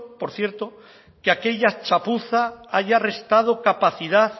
por cierto que aquella chapuza haya restado capacidad